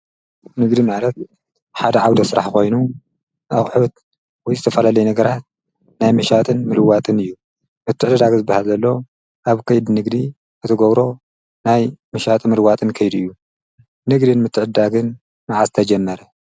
ንግዲ መዕረት ሓደ ዓው ደ ሥራሕ ኾይኑ ኣብሑት ወይ ዝተፈለለይ ነገራት ናይ ምሻትን ምልዋትን እዩ ምትዕድዳግ ዝበሃዘሎ ኣብ ከይድ ንግዲ እቲጐብሮ ናይ ምሻት ምልዋትን ከይድእዩ ንግድን ምትዕዳግን መዓስ ተጀመረ